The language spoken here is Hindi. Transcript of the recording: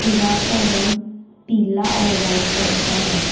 दीवार का रंग पीला और व्हाइट रंग का है।